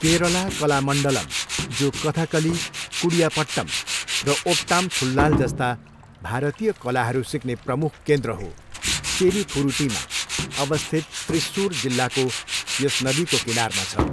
केरला कलामण्डलम, जो कथकली, कुडियाट्टम र ओट्टामथुल्लाल जस्ता भारतीय कलाहरू सिक्ने प्रमुख केन्द्र हो, चेरुथुरुटीमा अवस्थित त्रिस्सुर जिल्लाको यस नदीको किनारमा छ।